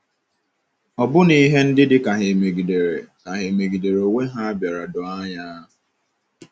Ọbụna ihe ndị dị ka ha emegidere ka ha emegidere onwe ha bịara doo anya.